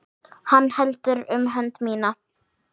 Hann heldur um hönd mína.